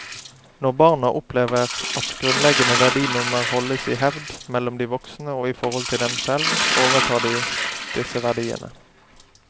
Når barna opplever at grunnleggende verdinormer holdes i hevd mellom de voksne og i forhold til dem selv, overtar de disse verdiene.